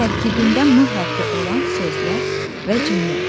Tərkibində M hərfi olan sözlər və cümlə.